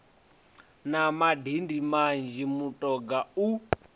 na madindi manzhi mutoga u